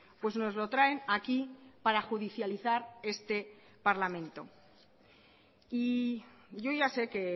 pues nos lo traen aquí para judicializar este parlamento y yo ya sé que